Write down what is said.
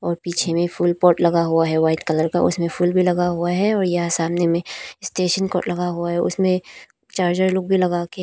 और पीछे में फुल पॉट लगा हुआ है वाइट कलर का उसमें फूल भी लगा हुआ है और यह सामने में स्टेशन को लगा हुआ है उसमें चार्जर लोग भी लगा के--